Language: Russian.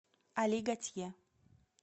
али гатье